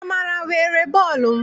Amara were bọọlụ m.